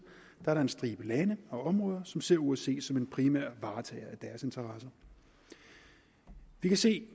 er en stribe lande og områder som ser osce som en primær varetager af deres interesser vi kan se